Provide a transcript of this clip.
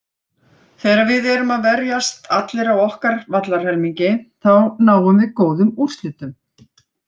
Þegar að við erum að verjast allir á okkar vallarhelmingi þá náum við góðum úrslitum.